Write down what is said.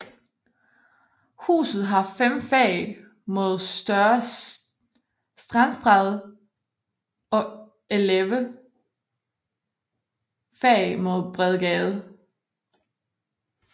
Huset har fem fag mod Store Strandstræde og elleve fag mod Bredgade